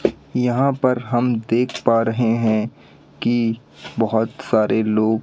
यहां पर हम देख पा रहे हैं कि बहुत सारे लोग--